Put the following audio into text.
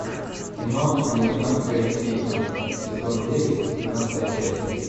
кино американская семейка сезон девять семнадцатая часть